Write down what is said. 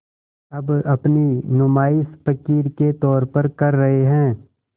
अब अपनी नुमाइश फ़क़ीर के तौर पर कर रहे हैं